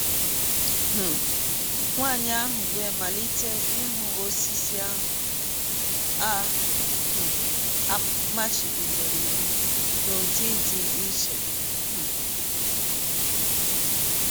um Nwanyị ahụ wee malite ịhụ osisi ahụ a um machibidoro iwụ n’ụdị dị iche um.